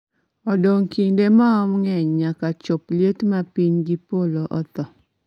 odong' kinde maom ng'eny nyaka chop liet ma piny gi polo otho